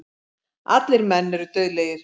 Allir menn eru dauðlegir.